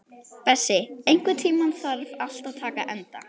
Bessi, einhvern tímann þarf allt að taka enda.